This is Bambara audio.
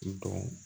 I dɔn